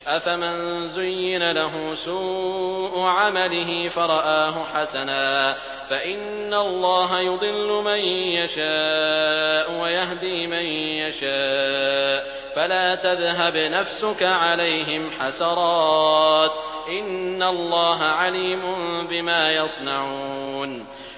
أَفَمَن زُيِّنَ لَهُ سُوءُ عَمَلِهِ فَرَآهُ حَسَنًا ۖ فَإِنَّ اللَّهَ يُضِلُّ مَن يَشَاءُ وَيَهْدِي مَن يَشَاءُ ۖ فَلَا تَذْهَبْ نَفْسُكَ عَلَيْهِمْ حَسَرَاتٍ ۚ إِنَّ اللَّهَ عَلِيمٌ بِمَا يَصْنَعُونَ